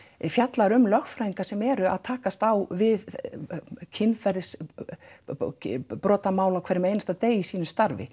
fjallar um lögfræðinga sem eru að takast á við kynferðibrotamál á hverjum degi í sínu starfi